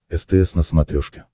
стс на смотрешке